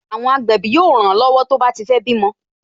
Àwọn agbẹ̀bí yóò ran lọ́wọ́ tó bá ti fé bímọ